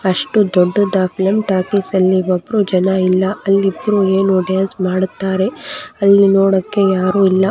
ಅಷ್ಟು ದೊಡ್ಡ film talkies ನಲ್ಲಿ ಒಬ್ರು ಜನ ಇಲ್ಲ ಅಲ್ಲಿ ಇಬ್ರು ಏನು ಡಾನ್ಸ್ ಮಾಡುತ್ತಾರೆ ಅಲ್ಲಿ ನೋಡಕ್ಕೆ ಯಾರು ಇಲ್ಲ.